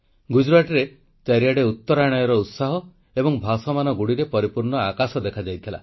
ଗୁଜରାଟରେ ଚାରିଆଡ଼େ ଉତ୍ତରାୟଣର ଉତ୍ସାହ ଏବଂ ଭାସମାନ ଗୁଡ଼ିରେ ପରିପୂର୍ଣ୍ଣ ଆକାଶ ଦେଖାଯାଇଥିଲା